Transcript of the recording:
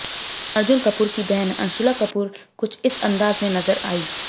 अर्जुन कपूर की बहन अंशुला कपूर कुछ इस अंदाज में नजर आईं